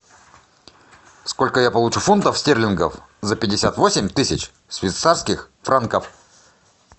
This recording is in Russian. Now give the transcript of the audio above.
сколько я получу фунтов стерлингов за пятьдесят восемь тысяч швейцарских франков